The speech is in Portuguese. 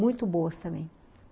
Muito boas também.